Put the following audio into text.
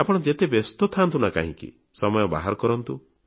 ଆପଣ ଯେତେ ବ୍ୟସ୍ତ ଥାଆନ୍ତୁ ନା କାହିଁକି ସମୟ ବାହାର କରନ୍ତୁ